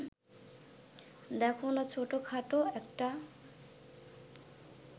দেখো না ছোটখাটো একটা